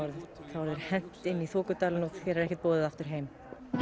þá er þér hent inn í þokudalinn og þér er ekkert boðið aftur heim